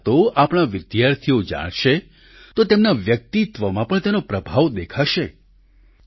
આ વાતો આપણા વિદ્યાર્થીઓ જાણશે તો તેમના વ્યક્તિત્વમાં પણ તેનો પ્રભાવ દેખાશે